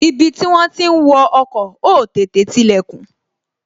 Ibi tí wón ti ń wo ọkọ̀, ó tètè tilè kùn